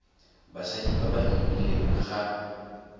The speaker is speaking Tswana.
basadi ba ba imileng ga